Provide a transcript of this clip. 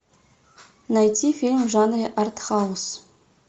найти фильм в жанре артхаус